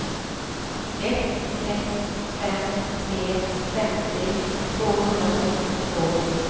ett sex fem tre femtio tvåhundrafyrtiotvå